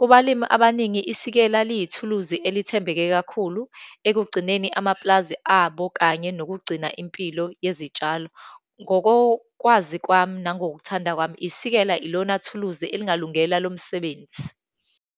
Kubalimi abaningi, isikela liyithuluzi elithembeke kakhulu, ekugcineni amapulazi abo, kanye nokugcina impilo yezitshalo. Ngokokwazi kwami nangokuthanda kwami, isikela ilona ithuluzi elingalungele lo msebenzi.